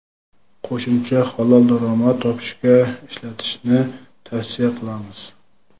qo‘shimcha halol daromad topishga ishlatishni tavsiya qilamiz.